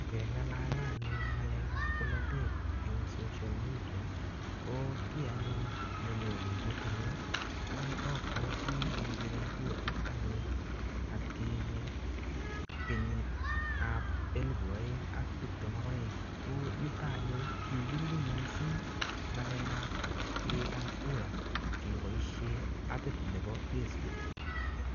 Ngeng'alale anyun ng'alekap bolotet eng social media, ko kiy anyun nenyone metit nyu, ko abwati kepire kurait anyun atkinye kenyitap elepu aeng ak tiptem ak aeng. Ko yutok anyun, kikirube missing ng'alekap piretap kura keboisie appit nebo facebook.